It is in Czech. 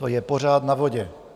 To je pořád na vodě.